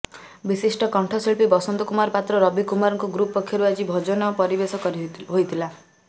ବିଶିଷ୍ଟ କଣ୍ଠଶିଳ୍ପୀ ବସନ୍ତ କୁମାର ପାତ୍ର ରବି କୁମାରଙ୍କ ଗ୍ରୁପ ପକ୍ଷରୁ ଆଜି ଭଜନ ପରିବେଷଣ ହୋଇଥିଲା